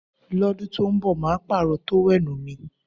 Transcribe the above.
Lọ́dún tó ń bọ̀ màá pààrọ̀ tówẹ́nù mi